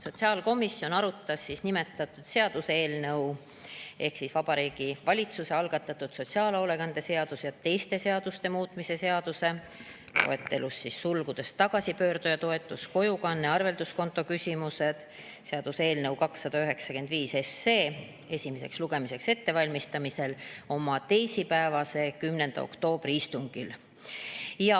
Sotsiaalkomisjon arutas nimetatud seaduseelnõu ehk Vabariigi Valitsuse algatatud sotsiaalhoolekande seaduse ja teiste seaduste muutmise seaduse eelnõu 295 esimest lugemist ette valmistades oma teisipäevasel, 10. oktoobri istungil.